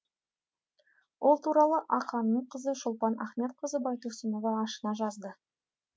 ол туралы ақаңның қызы шолпан ахметқызы байтұрсынова ашына жазды